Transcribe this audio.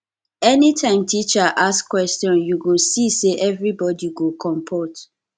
anytime teacher ask question you go see say everybody go compot